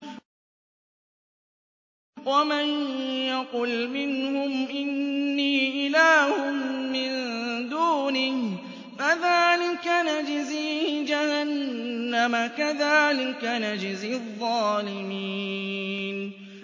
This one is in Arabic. ۞ وَمَن يَقُلْ مِنْهُمْ إِنِّي إِلَٰهٌ مِّن دُونِهِ فَذَٰلِكَ نَجْزِيهِ جَهَنَّمَ ۚ كَذَٰلِكَ نَجْزِي الظَّالِمِينَ